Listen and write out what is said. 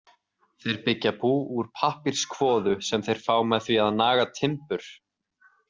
Þeir byggja bú úr pappírskvoðu sem þeir fá með því að naga timbur.